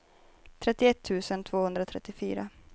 trettioett tusen tvåhundratrettiofyra